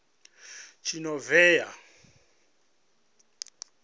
tshinovhea